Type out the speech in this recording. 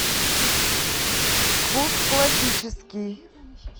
вкус классический